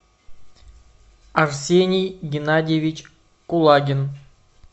арсений геннадьевич кулагин